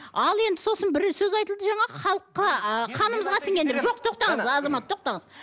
ал енді сосын бір сөз айтылды жаңа халыққа ыыы қанымызға сінген деп жоқ тоқтаңыз азамат тоқтаңыз